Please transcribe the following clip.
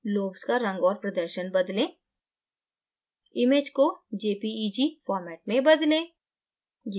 lobes का रंग और प्रदर्शन बदलना image को jpeg format में बदलना